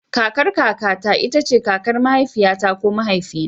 Kakar kaka ta ita ce kakar mahaifiyata ko mahaifina.